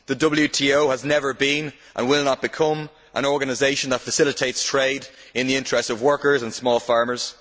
The WTO has never been, and will not become, an organisation that facilitates trade in the interests of workers and small farmers.